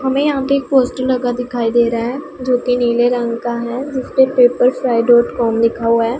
हमें यहां पे एक पोस्टर लगा दिखाई दे रहा है जो की नीले रंग का है जिसपे पेपर्स फ्राई डॉट कॉम लिखा हुआ है।